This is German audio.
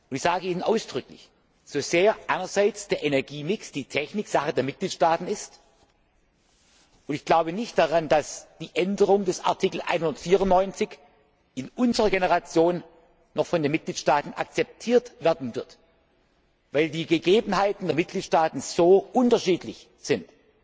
Ich sage Ihnen ausdrücklich, der Energiemix, die Technik, ist Sache der Mitgliedstaaten und ich glaube nicht daran, dass eine Änderung des Artikels 194 in unserer Generation noch von den Mitgliedstaaten akzeptiert werden wird, weil die Gegebenheiten der Mitgliedstaaten so unterschiedlich sind,